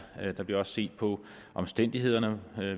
er der bliver også set på omstændighederne